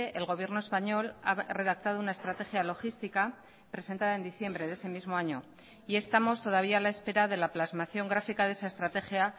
el gobierno español ha redactado una estrategia logística presentada en diciembre de ese mismo año y estamos todavía a la espera de la plasmación gráfica de esa estrategia